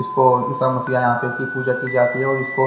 इसको यहां पे की पूजा की जाती है उसको--